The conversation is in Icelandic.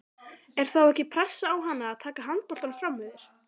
Er þá ekki pressa á hana að taka handboltann framyfir?